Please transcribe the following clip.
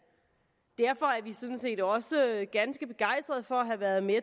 derfor er vi sådan set også ganske begejstrede for at have været med